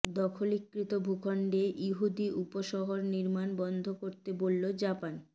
দখলীকৃত ভূখণ্ডে ইহুদি উপশহর নির্মাণ বন্ধ করতে বললো জাপান